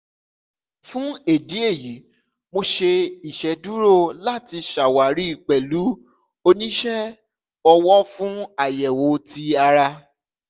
fun idi eyi mo ṣe iṣeduro lati ṣawari pẹlu onisẹ ọwọ fun ayẹwo ti ara